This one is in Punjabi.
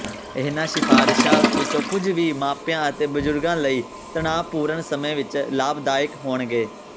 ਇਹਨਾਂ ਸਿਫ਼ਾਰਸ਼ਾਂ ਵਿੱਚੋਂ ਕੁੱਝ ਵੀ ਮਾਪਿਆਂ ਅਤੇ ਬਜ਼ੁਰਗਾਂ ਲਈ ਤਣਾਅਪੂਰਨ ਸਮੇਂ ਵਿੱਚ ਲਾਭਦਾਇਕ ਹੋਣਗੇ